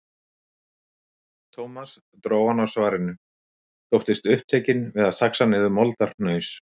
Thomas dró hann á svarinu, þóttist upptekinn við að saxa niður moldarhnaus.